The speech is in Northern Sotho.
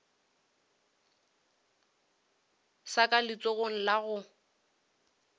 sa ka letsogong la go